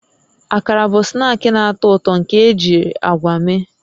Akara bụ snaakị na-atọ ụtọ nke ejiri agwa mee